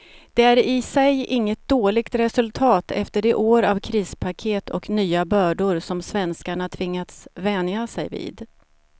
Det är i sig inget dåligt resultat efter de år av krispaket och nya bördor som svenskarna tvingats vänja sig vid.